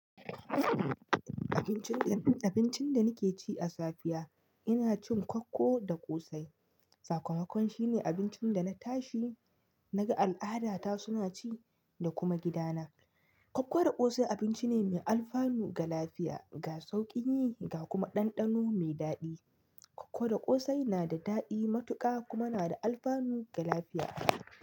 Abincin da, abincin da nake ci a safiya ina cin kwakko da ƙosai. Sakamakon shine abincin da na tashi na ga al'adata suna ci da kuma gidana. Kwakko da ƙosai abinci ne mai alfanu ga lafiya, ga sauƙi yi ga kuma ɗanɗano me daɗi. Kwakko da ƙosai na da daɗi matuƙa kuma na da alfanu ga lafiya.